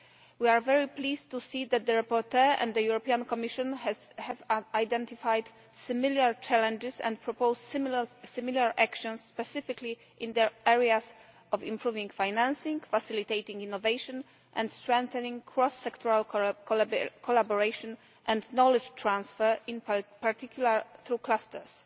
We are very pleased to see that the rapporteur and the Commission have identified similar challenges and proposed similar actions, specifically in the areas of improving financing, facilitating innovation and strengthening cross sectoral collaboration and knowledge transfer, in particular to clusters.